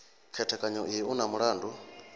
khethekanyo iyi u na mulandu